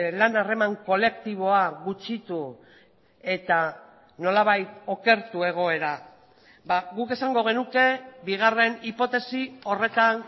lan harreman kolektiboa gutxitu eta nolabait okertu egoera guk esango genuke bigarren hipotesi horretan